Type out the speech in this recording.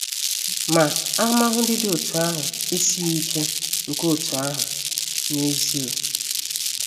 Ma, ahụmahụ ndị dị otú ahụ esighị ike nke otú ahụ n’ezie.